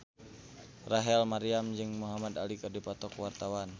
Rachel Maryam jeung Muhamad Ali keur dipoto ku wartawan